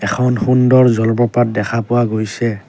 এখন সুন্দৰ জলপ্ৰপাত দেখা পোৱা গৈছে।